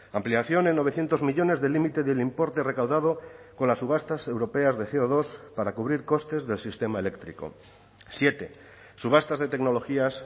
ampliación en novecientos millónes del límite del importe recaudado con las subastas europeas de ce o dos para cubrir costes del sistema eléctrico siete subastas de tecnologías